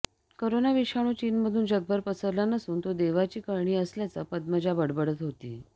corona विषाणू चीनमधून जगभर पसरला नसून तो देवाची करणी असल्याचं पद्मजा बडबडत होती